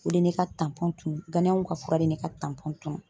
O de ye ne ka tunun, ganayɛnw ka fura de ye ne ka tunun